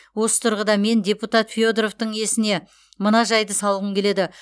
осы тұрғыда мен депутат федоровтың есіне мына жайды салғым келеді